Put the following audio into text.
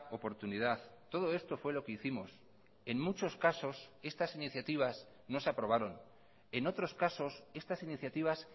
oportunidad todo esto fue lo que hicimos en muchos casos estas iniciativas no se aprobaron en otros casos estas iniciativas